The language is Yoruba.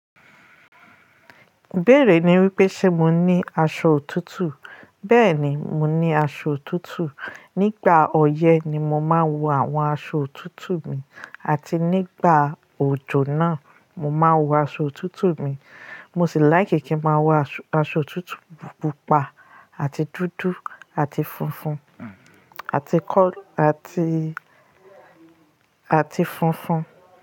Bẹ́ẹ̀ rí i wí pé ṣé mo ní aṣọ òtútù? Bẹ́ẹ̀ ni, mo ní aṣọ òtútù. Nígbà ọyẹ́ ni mo máa ń wọ àwọn aṣọ òtútù mi àti nígbà òjò náà mo máa ń wọ aṣọ òtútù mi. Mo sì láì kí kí n máa wọ aṣọ òtútù pupa àti dúdú àti funfun àti kọ̀-- àti, àti funfun.